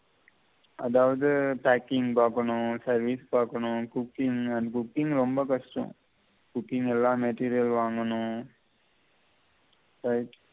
அதாவது packing பார்க்கணும் service பார்க்கணும் cooking and cooking ரொம்ப கஷ்டம் cooking ல எல்லா material வாங்கணும் right